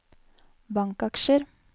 bankaksjer